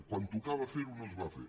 quan tocava fer ho no es va fer